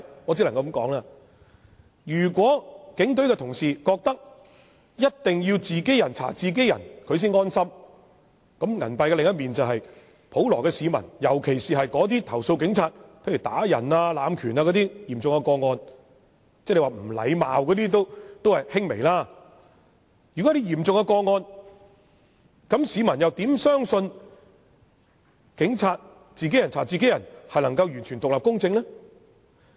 我只能說，如有警隊人員認為一定要"自己人查自己人"才能安心，銀幣的另一面就是普羅市民，對於那些重則投訴警務人員傷人、濫權，輕則指責警務人員無禮的市民，他們又如何能夠相信由警務人員"自己人查自己人"，能夠做到完全獨立和公正呢？